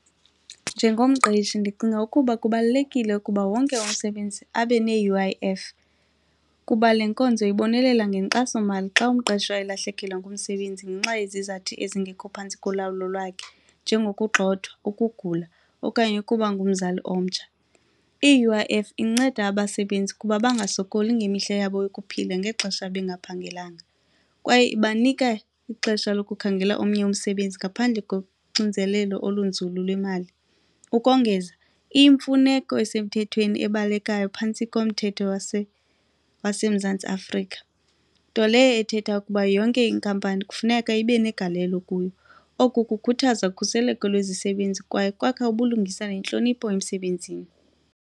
Njengomqeshi ndicinga ukuba kubalulekile ukuba wonke umsebenzi abe ne-U_I_F kuba le nkonzo ibonelela ngenkxasomali xa umqeshwa elahlekelwa ngumsebenzi ngenxa yezizathu ezingekho phantsi kolawulo lwakhe njengokugxothwa, ukugula okanye ukuba ngumzali omtsha. I-U_I_F inceda abasebenzi ukuba bangasokoli ngemihla yabo yokuphila ngexesha bengaphangelanga kwaye ibanika ixesha lokukhangela omnye umsebenzi ngaphandle koxinzelelo olunzulu lwemali. Ukongeza, iyimfuneko esemthethweni ebalekayo phantsi komthetho waseMzantsi Afrika nto leyo ethetha ukuba yonke inkampani kufuneka ibe negalelo kuyo. Oku kukhuthaza ukhuseleko lwezisebenza kwaye kwakha ubulungisa nentlonipho emsebenzini.